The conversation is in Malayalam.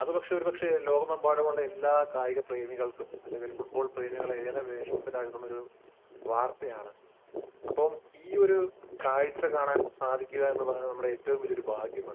അത് ഒരു പക്ഷെ ലോകമെമ്പാടുമുള്ള കായിക പ്രേമികളെ അല്ലെങ്കിൽ ഫുട്ബോൾ പ്രേമികളെ ഏറെ വേദനപ്പെടുത്തുന്ന ഒരു വാർത്തയാണ് . അപ്പൊ ഈയൊരു കാഴ്ച കാണുക എന്നത് നമ്മളെ ഏറ്റവും വലിയ ഒരു ഭാഗ്യമാണ്